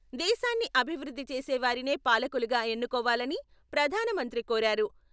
దేశాన్ని అభివృద్ధి చేసేవారినే పాలకులుగా ఎన్నుకోవాలని ప్రధానమంత్రి కోరారు.